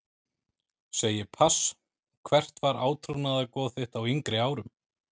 Segi pass Hvert var átrúnaðargoð þitt á yngri árum?